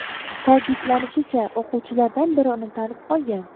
Ta’kidlanishicha, o‘quvchilardan biri uni tanib qolgan.